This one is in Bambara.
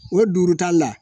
O jurutali la